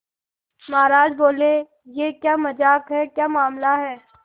महाराज बोले यह क्या मजाक है क्या मामला है